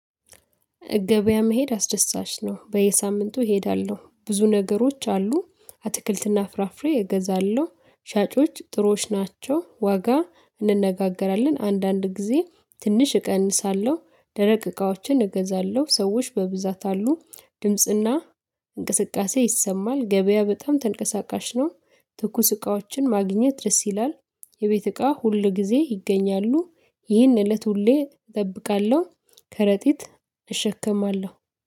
እገበያ መሄድ አስደሳች ነው በየሳምንቱ እሄዳለሁ ብዙ ነገሮች አሉ አትክልትና ፍራፍሬ እገዛለሁ። ሻጮች ጥሩዋች ናቸው ዋጋ እንነጋገራለን አንዳንድ ጊዜ ትንሽ እቀንሳለሁ። ደረቅ እቃዎችን እገዛለሁ ሰዎች በብዛት አሉ። ድምጽና እንቅስቃሴ ይሰማል ገበያ በጣም ተንቀሳቃሽ ነው። ትኩስ እቃዎችን ማግኘት ደስ ይላል። የቤት እቃ ሁል ጊዜ ይገኛሉ። ይህን እለት ሁሌ እጠብቃለሁ። ከረጢት እሸከማለሁ